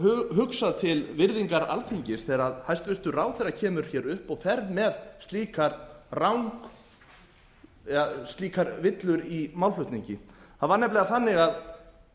hugsað til virðingar alþingis þegar hæstvirtur ráðherra kemur hér upp og fer með slíkar villur í málflutningi það var nefnilega þannig að